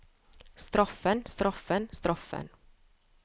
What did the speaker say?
straffen straffen straffen